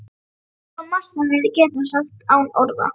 Það er svo margt sem við getum sagt án orða.